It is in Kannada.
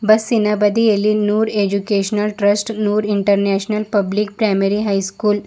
ಬಸ್ಸಿ ನ ಬದಿಯಲ್ಲಿ Noor educational trust Noor international public primary high school --